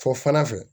Fɔ fana fɛ